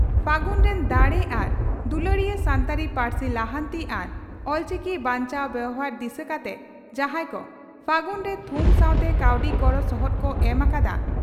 ᱯᱷᱟᱹᱜᱩᱱ ᱨᱤᱱ ᱫᱟᱲᱮ ᱟᱨ ᱫᱩᱞᱟᱹᱲᱤᱭᱟᱹ ᱥᱟᱱᱛᱟᱲᱤ ᱯᱟᱹᱨᱥᱤ ᱞᱟᱦᱟᱱᱛᱤ ᱟᱨ ᱚᱞᱪᱤᱠᱤ ᱵᱟᱧᱪᱟᱣ ᱵᱮᱣᱦᱟᱨ ᱫᱤᱥᱟᱹ ᱠᱟᱛᱮ ᱡᱟᱦᱟᱸᱭ ᱠᱚ 'ᱯᱷᱟᱹᱜᱩᱱ' ᱨᱮ ᱛᱷᱩᱢ ᱥᱟᱣᱛᱮ ᱠᱟᱹᱣᱰᱤ ᱜᱚᱲᱚ ᱥᱚᱦᱚᱫ ᱠᱚ ᱮᱢ ᱟᱠᱟᱫᱼᱟ